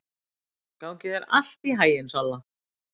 Gangi þér allt í haginn, Solla.